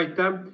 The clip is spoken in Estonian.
Aitäh!